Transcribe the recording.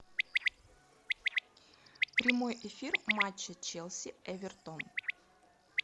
прямой эфир матча челси эвертон